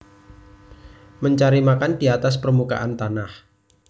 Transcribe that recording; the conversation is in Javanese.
Mencari makan di atas permukaan tanah